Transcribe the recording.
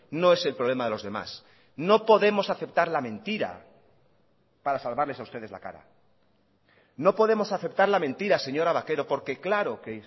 no es el problema de los demás no podemos aceptar la mentira para salvarles a ustedes la cara no podemos aceptar la mentira señora vaquero porque claro que